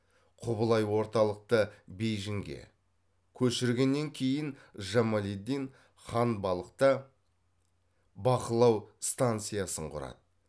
құбылай орталықты бейжиңге көшіргеннен кейін жамалиддин ханбалықта бақылау станциясын құрады